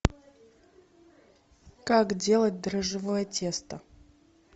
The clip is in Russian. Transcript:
как делать дрожжевое тесто